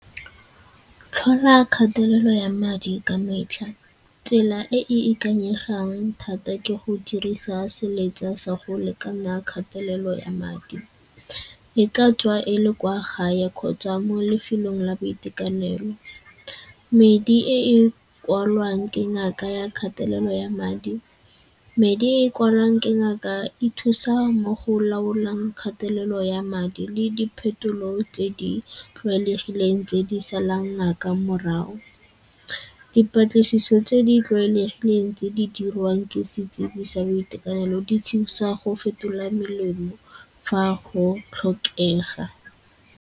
Tlhola kgatelelo ya madi ka metlha. Tsela e e ikanyegang thata ke go dirisa seletsa sa go lekana kgatelelo ya madi, e ka tswa e le kwa gae kgotsa mo lefelong la boitekanelo. Medi e e kwalwang ke ngaka ya kgatelelo ya madi, medi e e kwalwang ke ngaka e thusa mo go laolang kgatelelo ya madi le di phetolo tse di tlwaelegileng tse di salang ngaka morago. Dipatlisiso tse di tlwaelegileng tse di dirwang setsebi sa boitekanelo di thusa go fetola melemo fa go tlhokega.